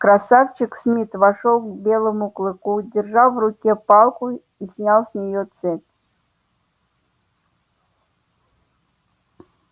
красавчик смит вошёл к белому клыку держа в руке палку и снял с него цепь